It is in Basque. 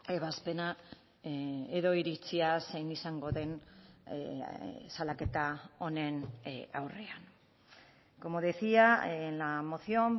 ebazpena edo iritzia zein izango den salaketa honen aurrean como decía en la moción